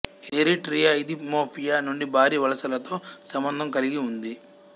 ఇది Eritrea Ethiopia నుండి భారీ వలసలతో సంబంధం కలిగి ఉంది